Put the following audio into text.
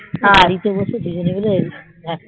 গাড়িতে বসে দুজনে মিলে